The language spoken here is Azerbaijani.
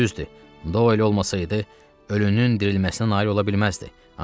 Düzdür, Doyl olmasaydı, ölünün dirilməsinə nail ola bilməzdi.